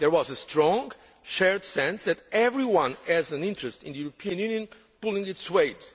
There was a strong shared sense that everyone has an interest in the European Union pulling its weight.